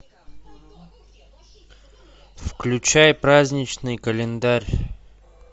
включай праздничный календарь